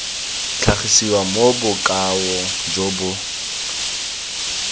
tlhagisiwa mo bokaong jo bo